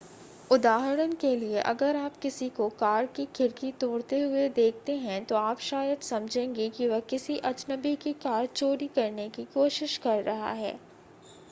उदाहरण के लिए अगर आप किसी को कार की खिड़की तोड़ते हुए देखते हैं तो आप शायद समझेंगे कि वह किसी अजनबी की कार चोरी करने की कोशिश कर रहा है